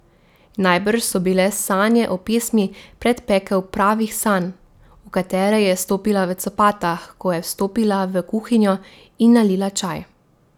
Najbrž so bile sanje o pesmi predpekel pravih sanj, v katere je vstopila v copatah, ko je vstopila v kuhinjo in nalila čaj.